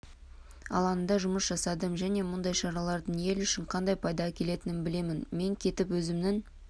алаңында жұмыс жасадым және мұндай шаралардың ел үшін қандай пайда әкелетінін білемін мен кетіп өзімнің